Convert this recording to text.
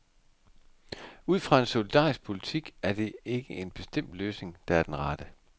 Ud fra en solidarisk politik er der ikke en bestemt løsning, der er den rette.